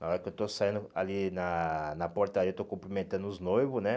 Na hora que eu estou saindo ali na na portaria, estou cumprimentando os noivos, né?